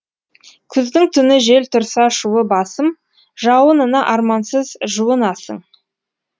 күздің түні жел тұрса шуы басым жауынына армансыз жуынасың